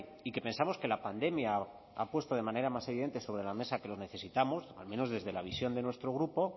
y que pensamos que la pandemia ha puesto de manera más evidente sobre la mesa que lo necesitamos al menos desde la visión de nuestro grupo